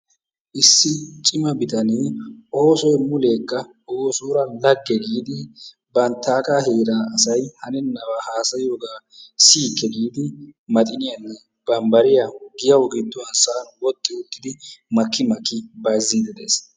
Issi cimma bitanee oosoy mulekka moosoora laagge giidi banttaagaa heeraa asay hanennabaa hasayiyooga mulekka siyyikke giidi maxxiniyanne bambabriya giyawu gidduwan woxxi uttidi makki miakkidi bayzziidi de'ees.